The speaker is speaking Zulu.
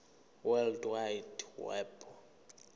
world wide web